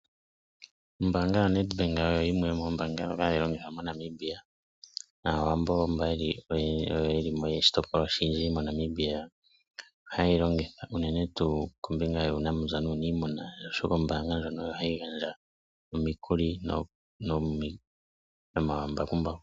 Ombaanga yoNedbank oyo yimwe yoomoombanga ndhoka hadhi longithwa moNamibia. Naawambo mba oyo yelimo oshitopolwa oshindji moNamibia, ohayeyi longitha unene tuu kombinga yuunamapya nuunimuna, oshoka ombaanga ndjono ohayi gandja omikuli.